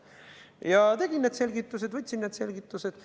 Ja ma võtsin need selgitused.